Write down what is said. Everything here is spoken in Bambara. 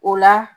O la